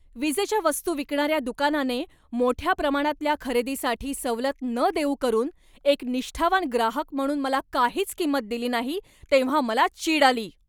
विजेच्या वस्तू विकणाऱ्या दुकानाने मोठ्या प्रमाणातल्या खरेदीसाठी सवलत न देऊ करून एक निष्ठावान ग्राहक म्हणून मला काहीच किंमत दिली नाही, तेव्हा मला चीड आली.